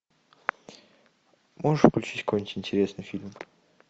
можешь включить какой нибудь интересный фильм